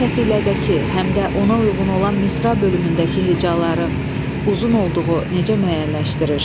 Bəs təfilədəki həm də ona uyğun olan misra bölümündəki hecaların uzun olduğu necə müəyyənləşdirilir?